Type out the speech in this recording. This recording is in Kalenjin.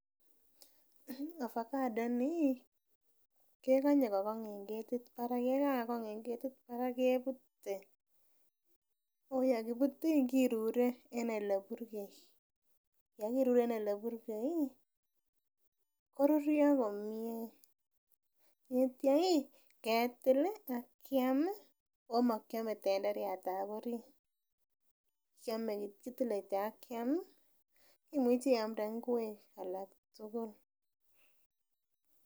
Ovacado ini ih kekonye kokong en ketit barak yekakong en ketit barak kebute ako yekibut ih kirure en eleburgei ye kirure en eleburgei koruryo komie ak itya ketil ih akiam ako mokiome tenderiatab orit, kiome kitile kityok akiam ih, imuchi iamde ngwek alak tugul.